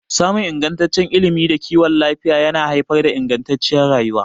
Samun ingantaccen ilimi da kiwon lafiya yana haifar da ingantacciyar rayuwa.